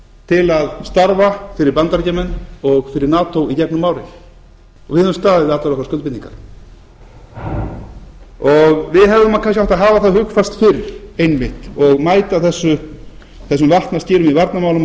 til að starfa fyrir bandaríkjamenn og fyrir nato í gegnum árin við höfum staðið við allar okkar skuldbindingar við hefðum kannski átt að hafa það hugfast fyrr einmitt og mæta þessum vatnaskilum í varnarmálum